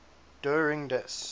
der ring des